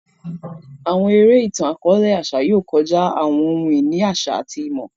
Àwọn eré itan-akọọlẹ àṣà yóò kọjá àwọn ohun-ìní àṣà àti ìmọ̀.